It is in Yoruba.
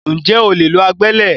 Ǹjẹ́ o lè lo agbẹ́lẹ̀?